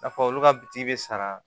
N'a fɔ olu ka biti be sara